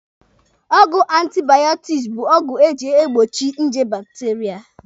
Ọgwụ antibaọtiksi bụ agwọ eji egbochi nje bakiteria.